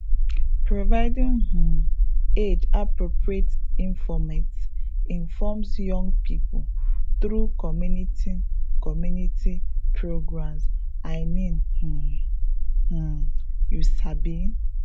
providing um age appropriate informate informs young pipo through community community programs i mean um um you sabi